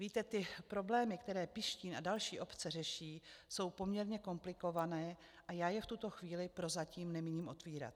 Víte, ty problémy, které Pištín a další obce řeší, jsou poměrně komplikované a já je v tuto chvíli prozatím nemíním otevírat.